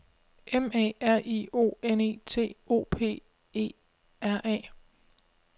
M A R I O N E T O P E R A